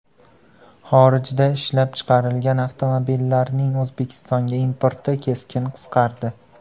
Xorijda ishlab chiqarilgan avtomobillarning O‘zbekistonga importi keskin qisqardi.